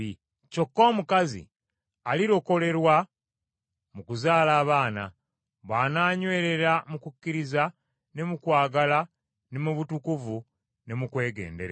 Kyokka omukazi alirokolerwa mu kuzaala abaana, bw’ananywereranga mu kukkiriza ne mu kwagala ne mu butukuvu, ne mu kwegendereza.